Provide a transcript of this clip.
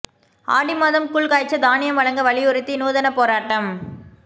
ஆடி மாதம் கூழ் காய்ச்ச தானியம் வழங்க வலியுறுத்தி நூதன போராட்டம்